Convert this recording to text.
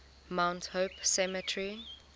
mount hope cemetery